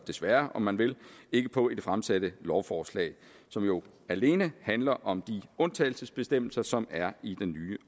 desværre om man vil ikke på i det fremsatte lovforslag som jo alene handler om de undtagelsesbestemmelser som er i den nye